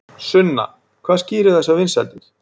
Sunna hvað skýrir þessar vinsældir?